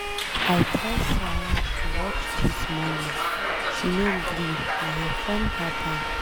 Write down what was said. I tell Sara to watch dis morning she no gree na her friend help am.